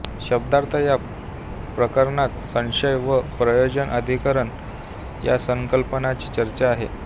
शब्दार्थ या प्रकरणात संशय व प्रयोजन अधिकरण या संकल्पनांची चर्चा आहे